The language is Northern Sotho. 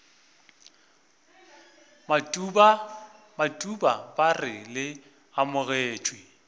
matuba ba re le amogetšwe